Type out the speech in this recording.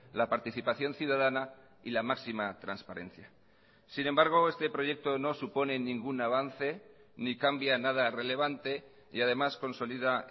la participación ciudadana y la máxima transparencia sin embargo este proyecto no supone ningún avance ni cambia nada relevante y además consolida